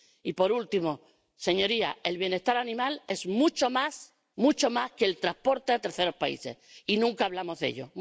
Y, por último, señorías, el bienestar animal es mucho más, mucho más, que el transporte a terceros países, y nunca hablamos de ello.